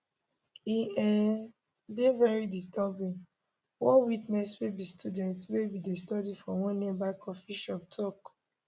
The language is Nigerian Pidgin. e um dey very disturbing one witness wey be student wey bin dey study for one nearby coffee shop tok